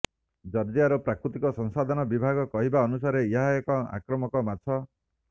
ଜର୍ଜିଆର ପ୍ରାକୃତିକ ସଂସାଧନ ବିଭାଗର କହିବା ଅନୁସାରେ ଏହା ଏକ ଆକ୍ରମକ ମାଛ